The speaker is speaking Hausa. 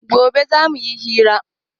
Gobe za mu yi hiran